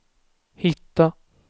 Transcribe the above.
hitta